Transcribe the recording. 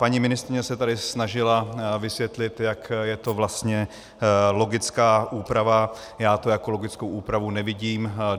Paní ministryně se tady snažila vysvětlit, jak je to vlastně logická úprava, já to jako logickou úpravu nevidím.